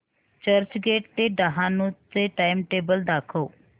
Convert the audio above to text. चर्चगेट ते डहाणू चे टाइमटेबल दाखव